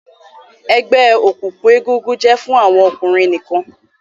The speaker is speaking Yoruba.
egbe òkùnkùn egungun jẹ fún àwọn ọkùnrin nìkàn.